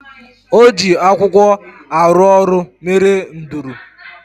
O ji akwụkwọ arụ ọrụ mere nduru